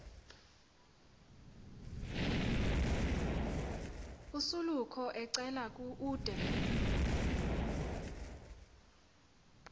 osoloko ecela ude